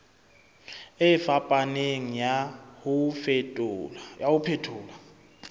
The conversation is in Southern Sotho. e fapaneng ya ho phethola